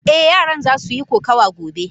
Eh yaran zasu yi kokawa gobe.